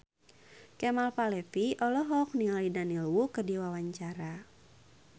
Kemal Palevi olohok ningali Daniel Wu keur diwawancara